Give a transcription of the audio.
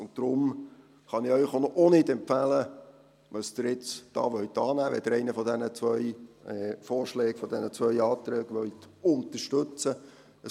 Deshalb kann ich Ihnen auch nicht empfehlen, was Sie hier jetzt annehmen sollen, wenn Sie einen von diesen zwei Vorschlägen, von diesen zwei Anträgen, unterstützen wollen.